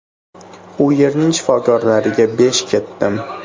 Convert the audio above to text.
U yerning shifokorlariga besh ketdim.